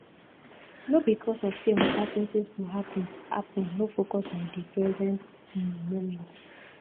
no because of sey uncertainties go happen happen no focus on di present um moment